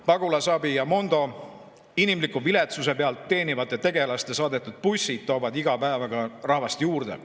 Pagulasabi ja Mondo inimliku viletsuse pealt teenivate tegelaste saadetud bussid toovad iga päev aga rahvast juurde.